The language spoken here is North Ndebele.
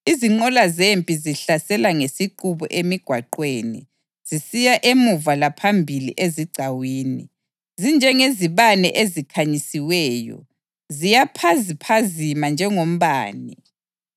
Izinqola zempi zihlasela ngesiqubu emigwaqweni, zisiya emuva laphambili ezigcawini. Zinjengezibane ezikhanyisiweyo; ziyaphaziphazima njengombane.